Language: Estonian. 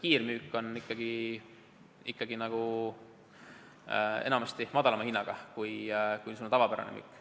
Kiirmüük on enamasti madalama hinnaga kui tavapärane müük.